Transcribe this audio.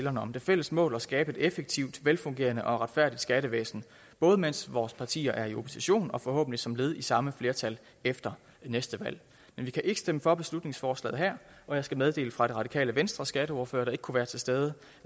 om det fælles mål og skabe et effektivt velfungerende og retfærdigt skattevæsen både mens vores partier er i opposition og forhåbentlig som led i samme flertal efter næste valg men vi kan ikke stemme for beslutningsforslaget her og jeg skal meddele fra det radikale venstres skatteordfører der ikke kunne være til stede